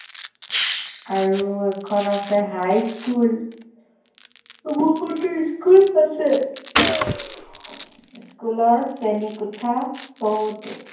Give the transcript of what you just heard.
আৰু এখন আছে হাইস্কুল বহুতো school আছে school শ্ৰেণীকোঠা বহুতো